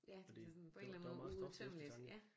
Ja det var sådan på en eller anden måde uudtømmeligt ja